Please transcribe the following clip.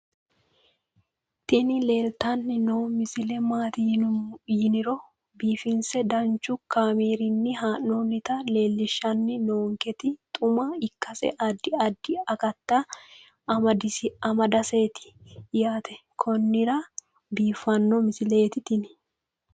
tini leeltanni noo misile maaati yiniro biifinse danchu kaamerinni haa'noonnita leellishshanni nonketi xuma ikkase addi addi akata amadaseeti yaate konnira biiffanno misileeti tini